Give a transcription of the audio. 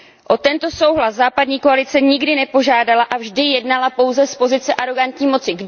O tento souhlas západní koalice nikdy nepožádala a vždy jednala pouze z pozice arogantní moci.